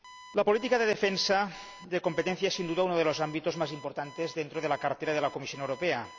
La política de defensa de la competencia es, sin duda, uno de los ámbitos más importantes dentro de la cartera de la Comisión Europea.